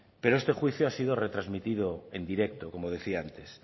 pero este juicio ha sido retransmitido en directo como decía antes